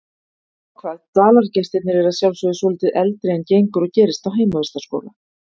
Nema hvað dvalargestirnir eru að sjálfsögðu svolítið eldri en gengur og gerist á heimavistarskóla.